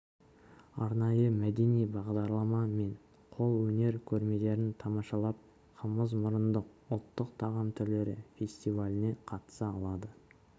арнайы мәдени бағдарлама мен қол өнер көрмелерін тамашалап қымызмұрындық ұлтық тағам түрлері фестиваліне қатыса алады